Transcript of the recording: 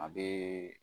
A bɛ